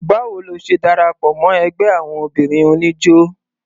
Báwo lo ṣe darapọ̀ mọ́ ẹgbẹ́ àwon obìnrin oníjó?